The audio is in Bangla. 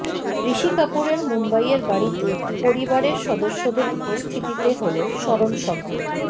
ঋষি কাপুরের মুম্বইয়ের বাড়িতে পরিবারের সদস্যদের উপস্থিতিতে হল স্মরণসভা